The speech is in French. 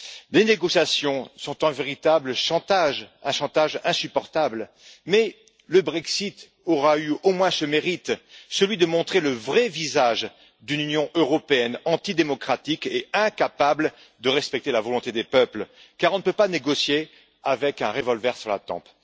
Les négociations sont un véritable chantage, un chantage insupportable, mais le Brexit aura eu au moins ce mérite celui de montrer le vrai visage d'une Union européenne antidémocratique et incapable de respecter la volonté des peuples car on ne peut pas négocier avec un revolver sur la tempe.